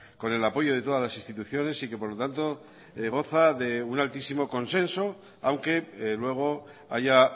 con el apoyo de todas las instituciones y que por lo tanto goza de un altísimo consenso aunque luego haya